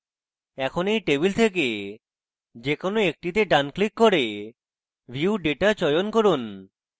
এখন এই টেবিল থেকে যে কোনো একটিতে ডান click করে view data চয়ন করুন